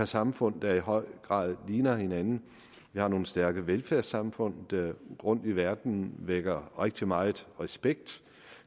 samfund der i høj grad ligner hinanden vi har nogle stærke velfærdssamfund der rundtom i verden vækker rigtig meget respekt